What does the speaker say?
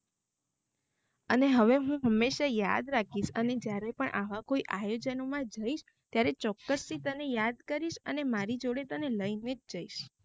અને હવે હુ હમ્મેશા યાદ રાખીશ અને જ્યારે પણ આવા આયોજનો મા જઇશ ત્યારે ચોક્કસ થી તને યાદ કરીશ અને મારી જોડે તને લઇને જઇશ